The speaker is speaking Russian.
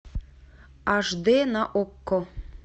аш д на окко